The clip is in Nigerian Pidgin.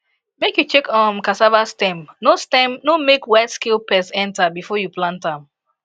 make you check um cassava stem no stem no make white scale pest enter before you plant am